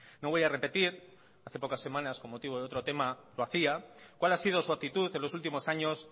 no voy a repetir hace pocas semanas con motivo de otro tema lo hacía cuál ha sido su actitud en los últimos años